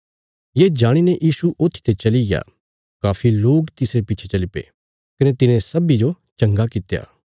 ये जाणीने यीशु ऊत्थीते चलिग्या काफी लोक तिसरे पिच्छे चली पे कने तिने सब्बीं जो चंगा कित्या